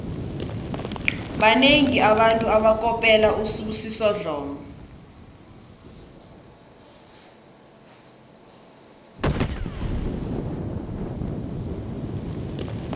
banengi abantu abakopela usibusiso dlomo